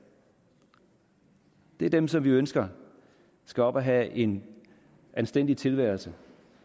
er dem som vi ønsker skal op og have en anstændig tilværelse